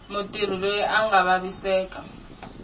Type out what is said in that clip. mutirhi loyi a nga vaviseka